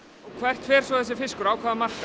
hvert fer svo þessi fiskur á hvaða markað